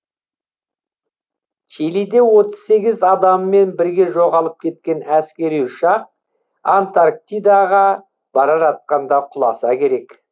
чилиде отыз сегіз адамымен бірге жоғалып кеткен әскери ұшақ антарктидаға бара жатқанда құласа керек